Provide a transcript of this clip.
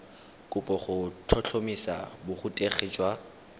kopo go tlhotlhomisa borutegi jwa